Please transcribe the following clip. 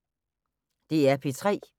DR P3